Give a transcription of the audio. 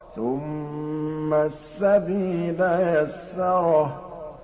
ثُمَّ السَّبِيلَ يَسَّرَهُ